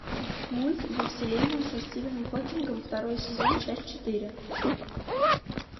мульт во вселенную со стивеном хокингом второй сезон часть четыре